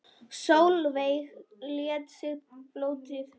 Sólveig lét sig pólitík varða.